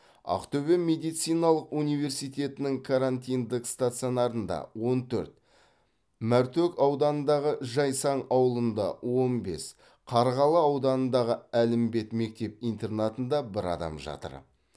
ақтөбе медициналық университетінің карантиндік стационарында он төрт мәртөк ауданындағы жайсаң ауылында он бес қарғалы ауданындағы әлімбет мектеп интернатында бір адам жатыр